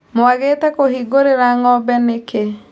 Mwagĩte kũhingũrĩra ngombe nĩkĩ.